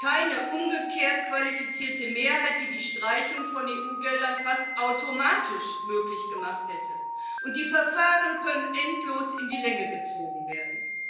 Keine umgekehrt qualifizierte Mehrheit, die die Streichung von EU Geldern fast automatisch möglich gemacht hätte, und die Verfahren können endlos in die Länge gezogen werden.